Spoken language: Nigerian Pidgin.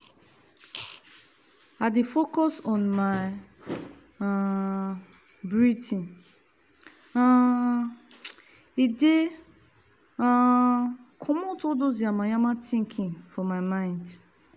i dey focus on my um breathing um e dey um comot all dos yamamaya thinking for my mind.